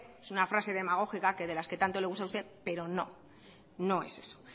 suena a frase demagógica que de las que tanto le gusta a usted pero no no es eso